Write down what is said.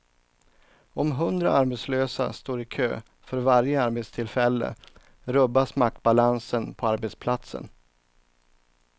Om hundra arbetslösa står i kö för varje arbetstillfälle rubbas maktbalansen på arbetsplatsen.